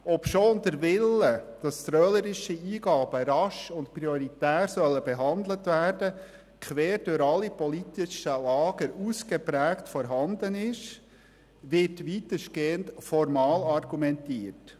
Obschon der Wille, dass trölerische Eingaben rasch und prioritär behandelt werden sollen, quer durch alle politischen Lager ausgeprägt vorhanden ist, wird weitestgehend formal argumentiert.